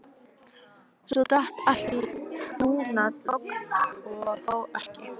Svo datt allt í dúnalogn og þó ekki.